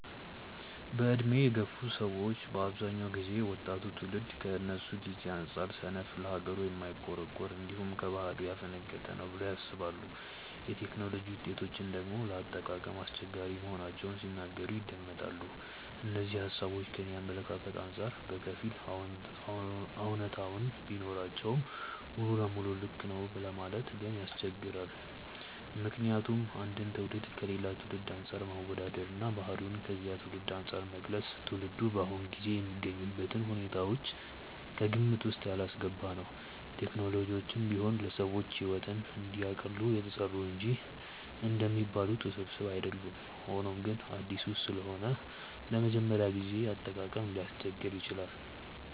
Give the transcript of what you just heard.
በዕድሜ የገፉ ሰዎች በአብዛኛው ጊዜ ወጣቱ ትውልድ ከነሱ ጊዜ አንጻር ሰነፍ፣ ለሀገሩ የማይቆረቆር፣ እንዲሁም ከባህሉ ያፈነገጠ ነው ብለው ያስባሉ። የቴክኖሎጂ ውጤቶችን ደግሞ ለአጠቃቀም አስቸጋሪ መሆናቸውን ሲናገሩ ይደመጣል። እነዚህ ሃሳቦች ከኔ አመለካከት አንጻር በከፊል አውነታነት ቢኖራቸውም ሙሉ ለሙሉ ልክ ነው ለማለት ግን ያስቸግራል። ምክንያቱም አንድን ትውልድ ከሌላ ትውልድ አንፃር ማወዳደር እና ባህሪውን ከዚያ ትውልድ አንፃር መግለጽ ትውልዱ በአሁኑ ጊዜ የሚገኝበትን ሁኔታዎች ከግምት ውስጥ ያላስገባ ነው። ቴክኖሎጂዎችም ቢሆኑ ለሰዎች ሕይወትን እንዲያቀሉ የተሰሩ እንጂ እንደሚባሉት ውስብስብ አይደሉም። ሆኖም ግን አዲስ ስለሆኑ ለመጀመሪያ ጊዜ አጠቃቀም ሊያስቸግሩ ይችላሉ።